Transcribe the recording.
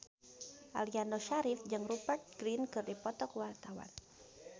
Aliando Syarif jeung Rupert Grin keur dipoto ku wartawan